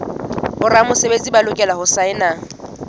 boramesebetsi ba lokela ho saena